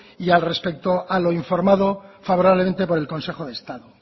y respecto a lo informado favorablemente por el consejo de estado